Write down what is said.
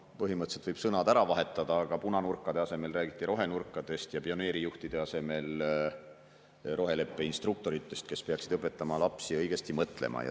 Põhimõtteliselt võiks sõnad lihtsalt ära vahetada: punanurkade asemel räägiti rohenurkadest ja pioneerijuhtide asemel roheleppe instruktoritest, kes peaksid õpetama lapsi õigesti mõtlema.